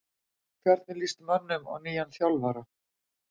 Hvernig lýst mönnum á nýjan þjálfara?